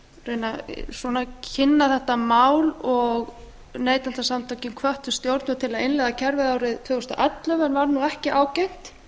reyna að kynna þetta mál og neytendasamtökin hvöttu stjórnvöld til að innleiða kerfið árið tvö þúsund og ellefu en varð ekki ágengt